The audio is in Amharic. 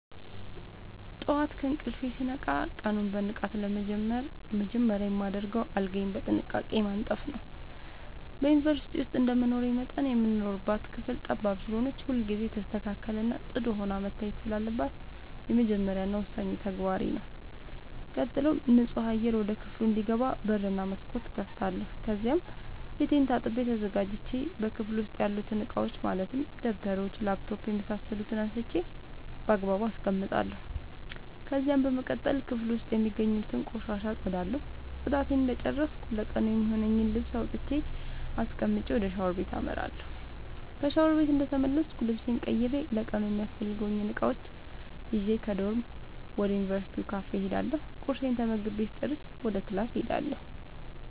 ጠዋት ከእንቅልፌ ስነቃ ቀኑን በንቃት ለመጀመር መጀመሪያ የማደርገው አልጋዬን በጥንቃቄ ማንጠፍ ነዉ። በዩንቨርስቲ ዉስጥ እንደመኖሬ መጠን የምንኖርባት ክፍል ጠባብ ስለሆነች ሁልጊዜ የተስተካከለ እና ፅዱ ሆና መታየት ስላለባት የመጀመሪያ እና ወሳኙ ተግባሬ ተግባሬ ነዉ። ቀጥሎም ንፁህ አየር ወደ ክፍሉ እንዲገባ በር እና መስኮት እከፍታለሁ ከዚያም ፊቴን ታጥቤ ተዘጋጅቼ በክፍሉ ዉስጥ ያሉትን እቃዎች ማለትም ደብተሮች: ላፕቶፕ የምሳሰሉትን አንስቼ ባግባቡ አስቀምጣለሁ። ከዚያም በመቀጠል ክፍሉ ዉስጥ የሚገኙትን ቆሻሻ አፀዳለሁ ፅዳቴን እንደጨረስኩ ለቀኑ የሚሆነኝን ልብስ አውጥቼ አስቀምጬ ወደ ሻወር ቤት አመራለሁ። ከሻወር ቤት እንደተመለስኩ ልብሴን ቀይሬ ለቀኑ የሚያስፈልጉኝን እቃዎች ይዤ ከዶርም ወደ ዩንቨርስቲው ካፌ እሄዳለሁ ቁርሴን ተመግቤ ስጨርስ ወደ ክላስ እሄዳለሁ።